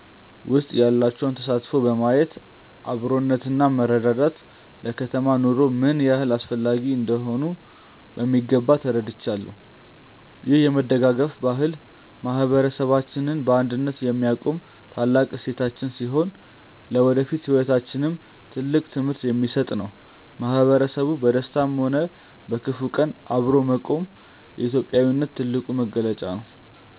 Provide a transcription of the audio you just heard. ውስጥ ያላቸውን ተሳትፎ በማየት አብሮነትና መረዳዳት ለከተማ ኑሮ ምን ያህል አስፈላጊ እንደሆኑ በሚገባ ተረድቻለሁ። ይህ የመደጋገፍ ባህል ማህበረሰባችንን በአንድነት የሚያቆም ታላቅ እሴታችን ሲሆን፣ ለወደፊት ህይወታችንም ትልቅ ትምህርት የሚሰጥ ነው። ማህበረሰቡ በደስታም ሆነ በክፉ ቀን አብሮ መቆሙ የኢትዮጵያዊነት ትልቁ መገለጫ ነው።